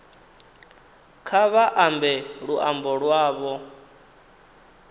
kha vha ambe luambo lwavho